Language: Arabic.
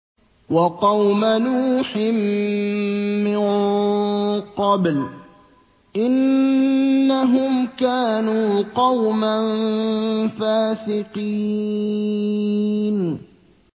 وَقَوْمَ نُوحٍ مِّن قَبْلُ ۖ إِنَّهُمْ كَانُوا قَوْمًا فَاسِقِينَ